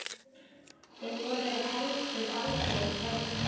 Þau voru heldur aldrei hrædd.